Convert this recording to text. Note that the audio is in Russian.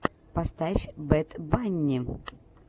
поставь бэд банни